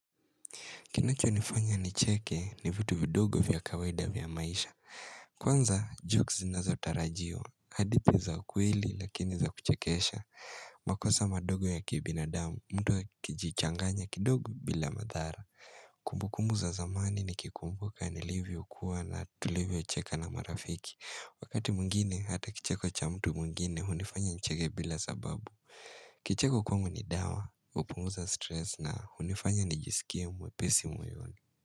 Kinacho nifanya nicheke ni vitu vidogo vya kawaida vya maisha. Kwanza, jokes zinazotarajiwa. Hadi zipo za ukweli lakini za kuchekesha. Makosa madogo ya kibinadamu, mtu akijichanganya kidogo bila madhara. Kumbukumbu za zamani ni kikumbuka nilivyo kuwa na tulivyo cheka na marafiki. Wakati mwngine, hata kicheko cha mtu mwngine, hunifanya nicheke bila zababu. Kicheko kwangu ni dawa, hupunguza stress na unifanya nijisikia mwepesi.